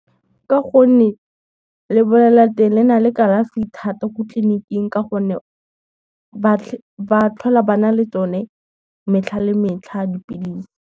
Ka gonne, le nale kalafi thata ko tleliniking ka gonne, ba tlhola ba na le tsone metlha le metlha dipilisi.